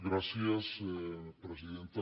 gràcies presidenta